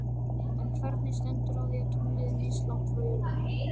En hvernig stendur á því að tunglið er mislangt frá jörðinni?